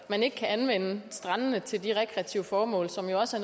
at man ikke kan anvende strandene til de rekreative formål som jo også